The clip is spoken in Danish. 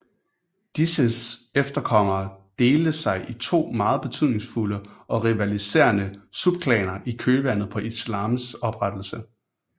Disses efterkommere delte sig i to meget betydningfulde og rivaliserende subklaner i kølvandet på islams oprettelse